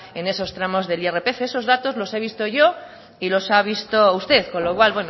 en esos tramos del irpf eso datos los he visto yo y los ha visto usted con lo cual